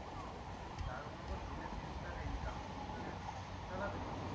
যার মনে কর দিনে তিনশো টাকা income, সে চালাবে কি ভাবে?